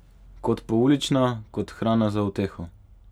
Kot poulična, kot hrana za uteho.